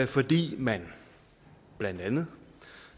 fordi man blandt andet